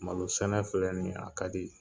Malo sɛnɛ filɛ nin ye a ka di